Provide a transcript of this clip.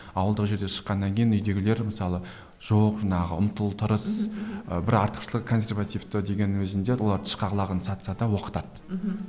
ауылдық жерден шыққаннан кейін үйдегілер мысалы жоқ жаңағы ұмтыл тырыс ы бір артықшылық консервативті дегеннің өзінде олар тышқақ лағын сатса да оқытады мхм